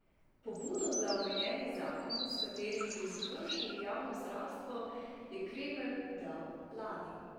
Pobudo za omenjeni zakon, s katerim bi izboljšali javno zdravstvo, je Kremelj dal lani.